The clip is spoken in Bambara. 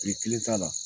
Kile kelen t'a la